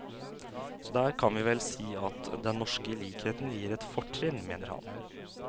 Så der kan vi vel si at den norske likheten gir et fortrinn, mener han.